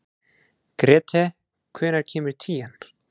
Grethe, hvenær kemur tían?